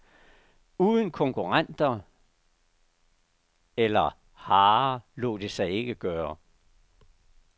Uden konkurrenter eller hare lod det sig ikke gøre.